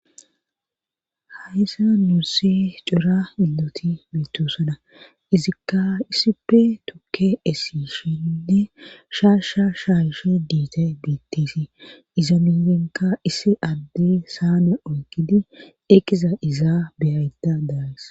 Haysa nuusse cora inloti meetusana izikka issippe tukke essishinne shaasha shaashe diitay biittisi iza mienka issi adde saame oyqidi eqiza izaa beyayta daawess.